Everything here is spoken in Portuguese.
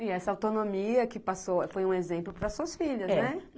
E essa autonomia que passou foi um exemplo para suas filhas, né?